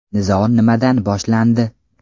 Nizo nimadan boshlandi?